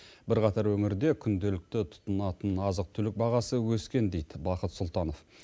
бірқатар өңірде күнделікті тұтынатын азық түлік бағасы өскен дейді бақыт сұлтанов